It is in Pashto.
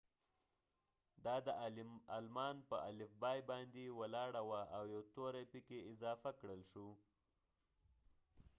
دا د آلمان په الفبای باندي ولاړه وه او یو توری پکې اضافه کړل شو